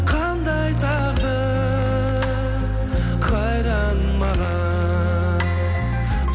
қандай тағдыр қайдан маған